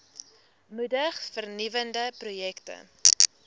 moedig vernuwende projekte